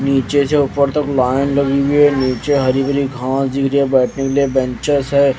नीचे से ऊपर तक लाइन लगी हुई है नीचे हरी भरी घास दिख रही है बैठने के लिए बेंचेस है।